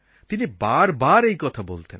তিনি বারবার এই কথা বলতেন